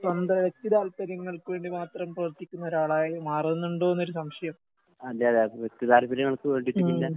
സ്വന്തം വ്യക്തി താൽപര്യങ്ങൾക്ക് വേണ്ടി മാത്രം പ്രവർത്തിക്കുന്നൊരാളായി മാറുന്നുണ്ടോന്നൊരു സംശയം. ഉം.